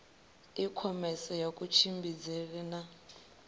i khomese ya kutshimbidzele na